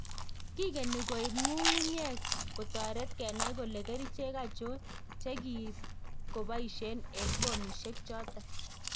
Kigeni koib ngu'ng'nyek kotoret kenai kole kerichek achon che ki koboiesien en pomisiek choton